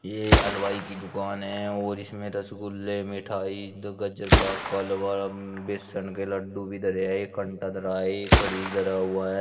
ये हलवाई की दुकान है और इसमें रसगुल्ले मिठाई तथा गाजर बा का हलवा बेसन के लड्डू भी धरे हैं धरा है एक फ्रिज धरा हुआ है।